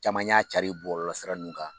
Caman y'a cari bɔlɔlɔ sira ninnu kan,